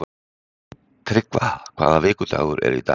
Tryggva, hvaða vikudagur er í dag?